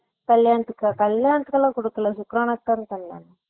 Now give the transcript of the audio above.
கல்யாணத்துக்கா கல்யாணத்துக்கெல்லாம் குடுக்களா சுக்றானாக்கு தான கல்யாணம்